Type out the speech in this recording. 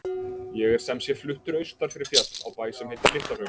Ég er sem sé fluttur austur fyrir fjall, á bæ sem heitir LitlaHraun.